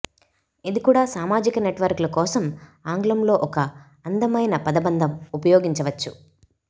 ఇది కూడా సామాజిక నెట్వర్క్లు కోసం ఆంగ్లంలో ఒక అందమైన పదబంధం ఉపయోగించవచ్చు